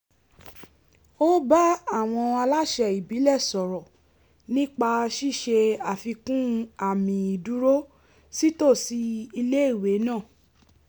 ó bá àwọn aláṣẹ ìbílẹ̀ sọ̀rọ̀ nípa ṣíṣe àfikún àmì ìdúró sítòsí iléèwé náà